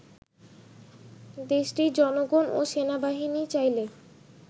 দেশটির জনগণ ও সেনাবাহিনী চাইলে